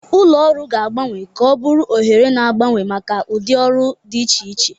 Ụlọ ọrụ ga-agbanwe ka ọ bụrụ oghere na-agbanwe maka ụdị ọrụ dị iche iche.